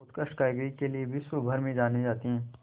उत्कृष्ट कारीगरी के लिये विश्वभर में जाने जाते हैं